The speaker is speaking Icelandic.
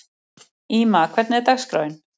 Íma, hvernig er dagskráin?